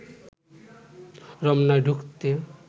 রমনায় ঢুকতে